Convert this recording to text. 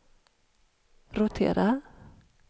rotera